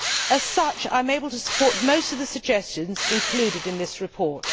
As such I am able to support most of the suggestions included in this report.